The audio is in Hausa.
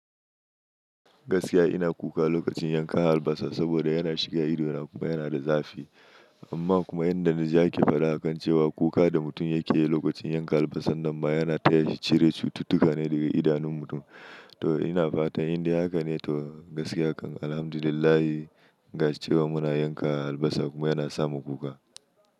Gaskiya ina kuka lokacin yankan albasa saboda yana shiga idona kuma yana da zafi. Amma kuma yanda na ji ake faɗa akan cewa kuka da mutum yake yi lokacin yanka albasa nan ma yana taya shi cire cututtuka ne daga idanun mutum. To ina fata indai haka ne, to gaskiya kan Alhamdulillahi gashi cewa muna yanka albasa kuma yana sa mu kuka.